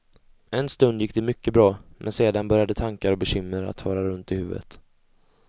En stund gick det mycket bra, men sedan började tankar och bekymmer att fara runt i huvudet.